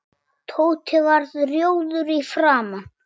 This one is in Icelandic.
Tóti varð rjóður í framan.